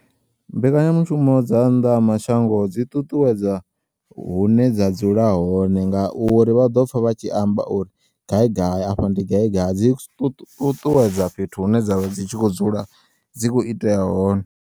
Mbekanyamushumo dza nnḓa ha mashango dzi ṱuṱuwedza hune dza dzula hone ngauri vhaḓopfa vhatshi amba uri gaigai afha ndi gaigai dzi ṱuṱuwedza fhethu hune dzavha dzitshi kho u dzula dzi kho itea hone.